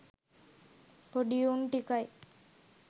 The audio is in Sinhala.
පොඩි උන් ටිකයි